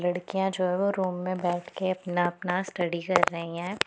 लड़कियां जो है वो रूम में बैठ के अपना-अपना स्टडी कर रही हैं।